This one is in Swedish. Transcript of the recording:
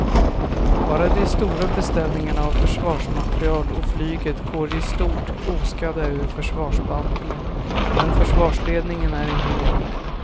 Bara de stora beställningarna av försvarsmateriel och flyget går i stort oskadda ur försvarsbantningen men försvarsledningen är inte enig.